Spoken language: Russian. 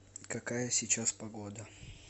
какая сейчас погода